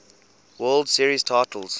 world series titles